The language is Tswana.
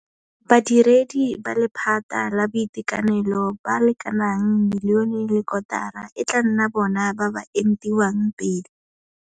Badiredi ba lephata la boitekanelo ba le kanaka milione le kotara e tla nna bona ba ba entiwang pele.